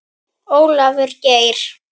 Ólafur Geir.